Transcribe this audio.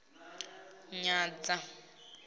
na u nyadzea na u